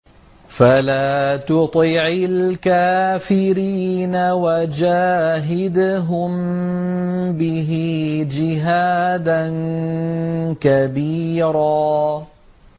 فَلَا تُطِعِ الْكَافِرِينَ وَجَاهِدْهُم بِهِ جِهَادًا كَبِيرًا